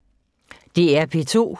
DR P2